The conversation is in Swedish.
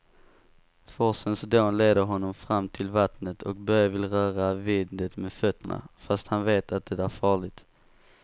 Forsens dån leder honom fram till vattnet och Börje vill röra vid det med fötterna, fast han vet att det är farligt.